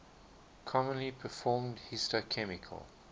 commonly performed histochemical